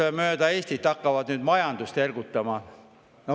Neli inimest üle Eesti hakkavad nüüd majandust ergutama.